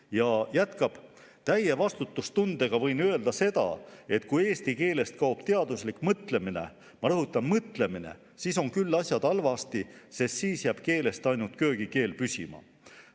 " Ja ta jätkab: "Täie vastutustundega võin öelda seda, et kui eesti keelest kaob teaduslik mõtlemine , siis on küll asjad halvasti, sest siis jääb keelest ainult köögikeel püsima.